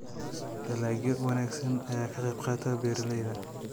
Dalagyo wanaagsan ayaa ka qayb qaata beeralayda.